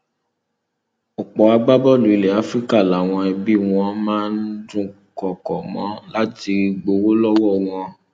ọpọ agbábọọlù ilẹ áfíríkà làwọn ẹbí wọn máa dúnkọkọ mọ láti gbowó lọwọ wọn